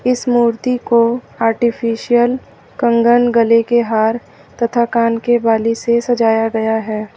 इस मूर्ति को आर्टिफिशियल कंगन गले के हर तथा कान के बाली से सजाया गया है।